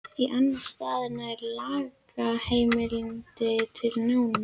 Í annan stað nær lagaheimildin til lána.